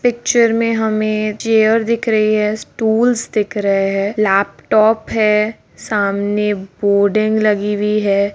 Picture में हमे chair दिख रही है स्टूल्स दिख रहे है लैपटॉप है सामने बोडिंग लगी हुई है।